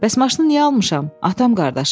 Bəs maşını niyə almışam, atam qardaşım?